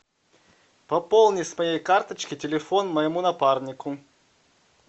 пополни с моей карточки телефон моему напарнику